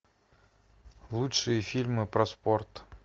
лучшие фильмы про спорт